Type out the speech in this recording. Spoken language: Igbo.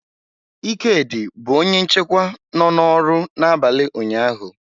Ikedi bụ onye nchekwa nọ n'ọrụ n'abalị ụnyaahụ.